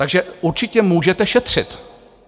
Takže určitě můžete šetřit.